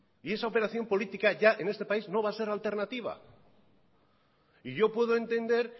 y esa operación política ya en este país no va a ser alternativa yo puedo entender